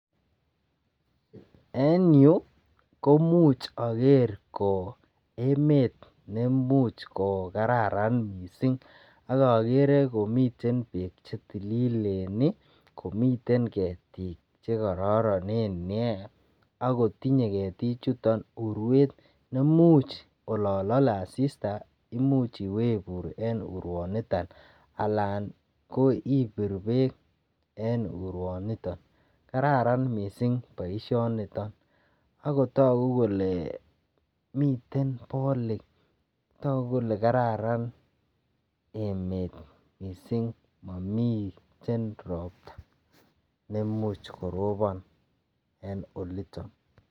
En yuu ko imuch okere ko emet nemuche ko kararan missing ak okere komiten beek chetililen nii komiten ketik chekororonen nia ak kotinye ketik chutet uruet ne imuche olon lole asista imuch iwebur en uruoniton alan ko ibir beek en uruoniton. Kararan missing boishoniton akotoku kole miten bolik tokuk kole kararan emet missing momiten ropta ne imuch koropon en oliton.